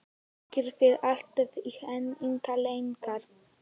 Gangi þér allt í haginn, Lyngar.